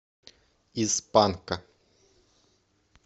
из панка